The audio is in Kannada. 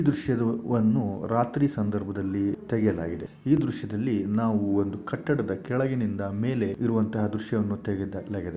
ಈ ದೃಶ್ಯದುವನ್ನು ರಾತ್ರಿ ಸಂದರ್ಭದಲ್ಲಿ ತೆಗೆಯಲಾಗಿದೆ ಈ ದೃಶ್ಯದಲ್ಲಿ ನಾವು ಒಂದು ಕಟ್ಟಡದ ಕೆಳಗಿನಿಂದ ಮೇಲೆ ಇರುವಂಥಹ ದೃಶ್ಯವನ್ನು ತೆಗೆಯಲಾಗಿದೆ .